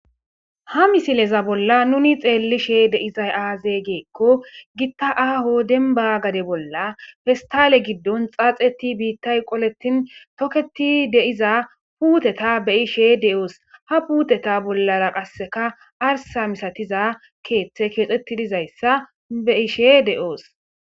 ha misileza bolla nuni xeellishe deizay aaze geekko gitta aaho denba gade bolla festale giddon xaaxeti biittay qoletin toketi deiza puuteta be ishe de7oos ha puuteta bollara qasseka arsa misatiza keeththe keexetidizayssa be ishe de7oos